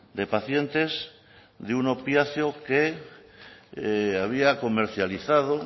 de pacientes de un opiáceo que había comercializado